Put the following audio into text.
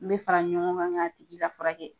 An bɛ fara ɲɔgɔn kan k'a tigi ka furakɛ .